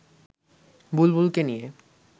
বুলবুলকে নিয়ে